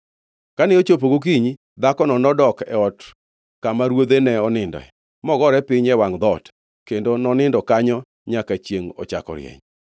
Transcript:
Kane ochopo gokinyi, dhakono nodok e ot kama ruodhe ne oninde, mogore piny e wangʼ dhoot kendo nonindo kanyo nyaka chiengʼ ochako rieny.